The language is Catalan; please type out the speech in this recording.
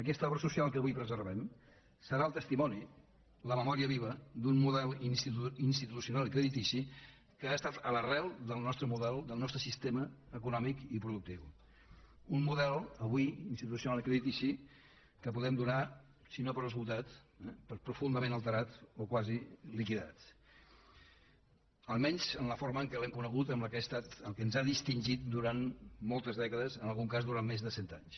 aquesta obra social que avui preservem serà el testimoni la memòria viva d’un model institucional i creditici que ha estat a l’arrel del nostre model del nostre sistema econòmic i productiu un model avui institucio nal i creditici que podem donar si no per esgotat per profundament alterat o quasi liquidat almenys en la forma que l’hem conegut que ens ha distingit durant moltes dècades en algun cas durant més de cent anys